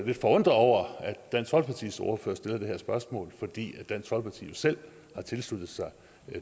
lidt forundret over at dansk folkepartis ordfører stiller det her spørgsmål fordi dansk folkeparti jo selv har tilsluttet sig